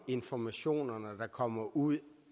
informationerne der kommer ud